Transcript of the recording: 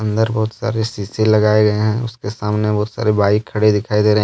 अंदर बहुत सारे शीशे लगाए गए हैं उसके सामने बहुत सारे बाइक खड़े दिखाई दे रहे हैं।